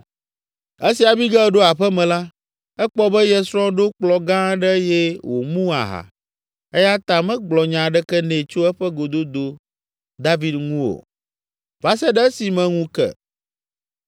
Esi Abigail ɖo aƒe me la, ekpɔ be ye srɔ̃ ɖo kplɔ̃ gã aɖe eye wòmu aha, eya ta megblɔ nya aɖeke nɛ tso eƒe gododo David ŋu o, va se ɖe esime ŋu ke.